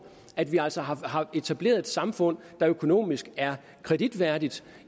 at vi altså har etableret et samfund der økonomisk er kreditværdigt